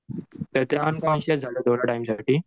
तर त्या अनकॉन्शिअस झाल्या थोड्या टाईमसाठी.